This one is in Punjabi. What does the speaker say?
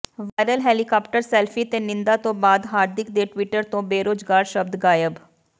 ਵਾਇਰਲ ਹੈਲੀਕਾਪਟਰ ਸੈਲਫੀ ਤੇ ਨਿੰਦਾ ਤੋਂ ਬਾਅਦ ਹਾਰਦਿਕ ਦੇ ਟਵਿਟਰ ਤੋਂ ਬੇਰੋਜ਼ਗਾਰ ਸ਼ਬਦ ਗਾਇਬ